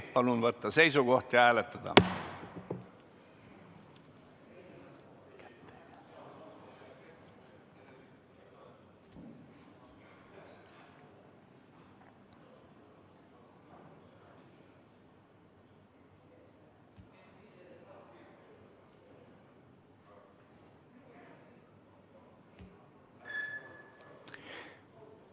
Palun võtta seisukoht ja hääletada!